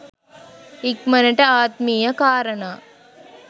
ඉක්මනට ආත්මීය කාරණා